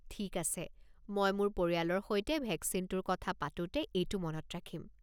ঠিক আছে, মই মোৰ পৰিয়ালৰ সৈতে ভেকচিনটোৰ কথা পাতোঁতে এইটো মনত ৰাখিম।